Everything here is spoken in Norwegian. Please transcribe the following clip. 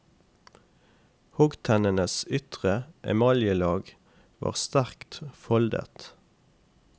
Hoggtennenes ytre emaljelag var sterkt foldet.